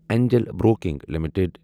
Angel Broking limited